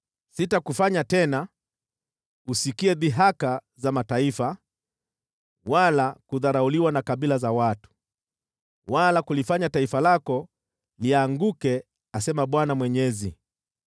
Sitakufanya tena usikie dhihaka za mataifa, wala kudharauliwa na kabila za watu, wala kulifanya taifa lako lianguke, asema Bwana Mwenyezi.’ ”